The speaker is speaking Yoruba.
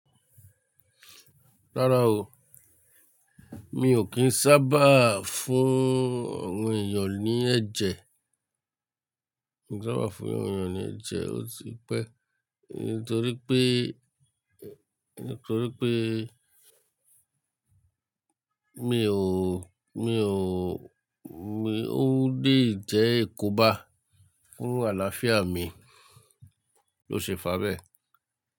Rárá o, mi ò kí ń sábà fún àwọn èèyàn ní ẹ̀jẹ̀. Nígbà wàá fún àwọn èèyàn ní ẹ̀jẹ̀, ó ti pẹ́ nítorí pé, nítorí pé mi ò, mi ò, mi ò lè jẹ ikó bá. Kún àlàáfíà mi ló ṣe fàbẹ́